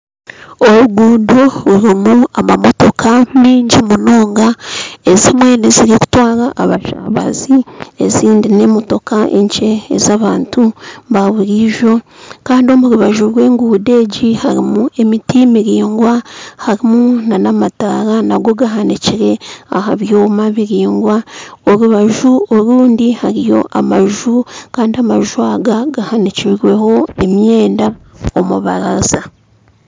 Orugudo rurimu emotoka nyingi munonga ezimwe nizitwarwa abashabaze ezindi n'emotoka enkye ez'abantu ba buriijo kandi omu rubaju rw'enguuto egi harimu emiti miraingwa harimu n'amatara nago gahanikire aha byoma biringwa, orubaju orundi hariyo amaju kandi amaju aga gahanikirweho emyenda omu rubabaraza